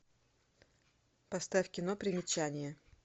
поставь кино примечание